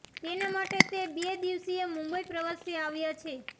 તેના માટે તે બે દિવસીય મુંબઈ પ્રવાસે આવ્યા છે